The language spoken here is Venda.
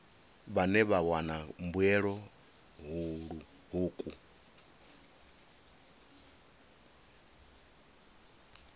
vhane vha wana mbuelo hukhu